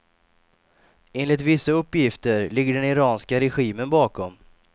Enligt vissa uppgifter ligger den iranska regimen bakom.